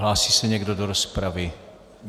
Hlásí se někdo do rozpravy?